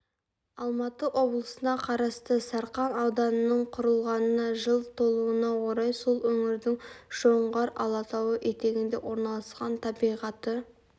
алматы облысына қарасты сарқан ауданының құрылғанына жыл толуына орай сол өңірдің жоңғар алатауы етігінде орналасқан табиғаты